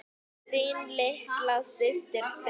Þín litla systir Sigga.